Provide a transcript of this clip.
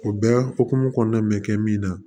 O bɛɛ hukumu kɔnɔna mɛ kɛ min na